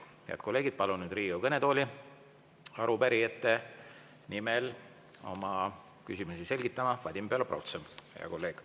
Head kolleegid, palun nüüd Riigikogu kõnetooli arupärijate nimel oma küsimusi selgitama Vadim Belobrovtsevi, hea kolleegi.